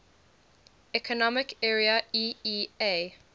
economic area eea